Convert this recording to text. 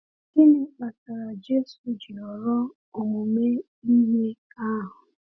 Gịnị kpatara Jésù ji họrọ omume iwe ahụ?